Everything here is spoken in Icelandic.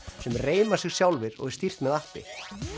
sem reima sig sjálfir og er stýrt með appi